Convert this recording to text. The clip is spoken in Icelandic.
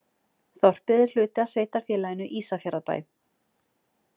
Þorpið er hluti af sveitarfélaginu Ísafjarðarbæ.